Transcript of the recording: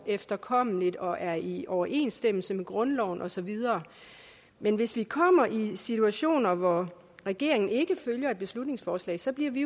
efterkommes og er i overensstemmelse med grundloven og så videre men hvis vi kommer i situationer hvor regeringen ikke følger et beslutningsforslag så bliver vi